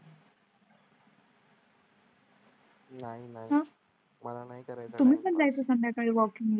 नाही नाही मला नाही करायचं तुम्ही पण जायचं संध्याकाळी वॉकिंग ला.